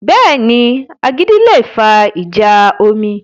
Bẹ́ẹ̀ni, agídí le fa ìjà omi